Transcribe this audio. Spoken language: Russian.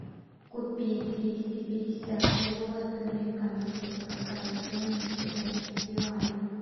купить двести пятьдесят долларов американских какая стоимость в китайских юанях